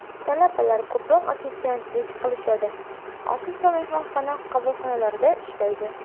Talabalar ko‘proq ofitsiantlik qilishadi, ofis va mehmonxona qabulxonalarida ishlaydi.